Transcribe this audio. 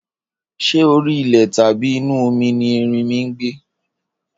Ṣé orí ilẹ̀ tàbí inú omi ni erinmi ń gbé?